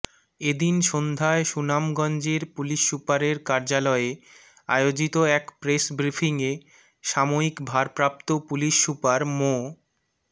এদিন সন্ধ্যায় সুনামগঞ্জের পুলিশ সুপারের কার্যালয়ে আয়োজিত এক প্রেস বিফ্রিংয়ে সাময়িক ভারপ্রাপ্ত পুলিশ সুপার মো